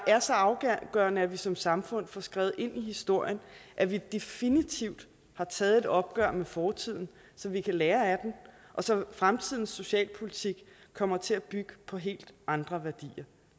er så afgørende at vi som samfund får skrevet ind i historien at vi definitivt har taget et opgør med fortiden så vi kan lære af den og så fremtidens socialpolitik kommer til at bygge på helt andre værdier